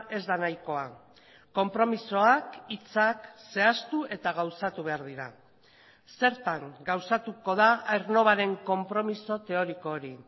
ez da nahikoa konpromisoak hitzak zehaztu eta gauzatu behar dira zertan gauzatuko da aernnovaren konpromiso teoriko hori